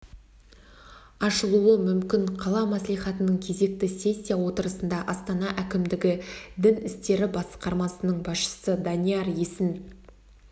ашылуы мүмкін қала мәслихатының кезекті сессия отырысында астана әкімдігі дін істері басқармасының басшысы данияр есін